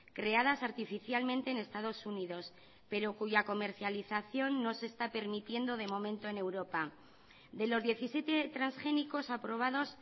creadas artificialmente en estados unidos pero cuya comercialización no se está permitiendo de momento en europa de los diecisiete transgénicos aprobados